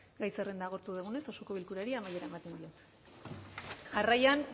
gai zerrenda agortu dugunez osoko bilkurari amaiera ematen diot jarraian